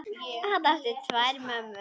Hann átti tvær mömmur.